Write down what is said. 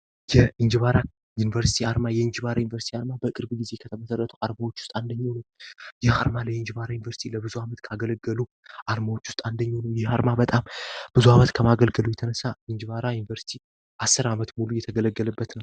የእንጅባራ ዩኒቨርስቲ አርማ የእንጅባራ ዩኒቨርስቲ አርማ በቅርብ ጊዜ ከተመሰረቱት አርማዎች ውስጥ አንዱ ነው። ይህ አርማ ለእንጅባራ ዩኒቨርስቲ ለብዙ ጊዜ ካገለገሉ አርማዎች ውስጥ አንዱ ነው። ይህ አርማ በጣም ብዙ አመት ከማገልገሉ የተነሳ እንጅባራ ዩኒቨርስቲ አስር አመት የተገለገለበት ነው።